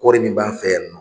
Kɔɔri min b'an fɛ yan nɔ